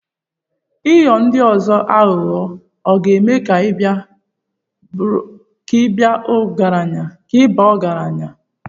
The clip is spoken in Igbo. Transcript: Ịghọ ndi ozo aghụghọ ọ̀ ga-eme ka ị baa ọgaranya?